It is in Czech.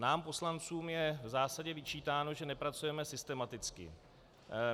Nám poslancům je v zásadě vyčítáno, že nepracujeme systematicky.